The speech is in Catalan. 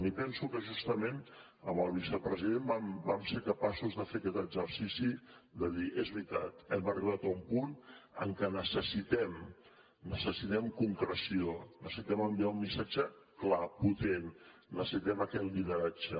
i penso que justament amb el vicepresident vam ser capaços de fer aquest exercici de dir és veritat hem arribat a un punt en què necessitem concreció necessitem enviar un missatge clar potent necessitem aquest lideratge